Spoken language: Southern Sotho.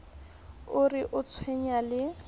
o re o tshwenyana le